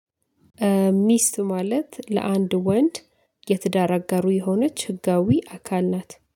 ሚስት ማለት ለአንድ ወንድ የትዳር አጋሩ የሆነች ህጋዊ አካል ናት።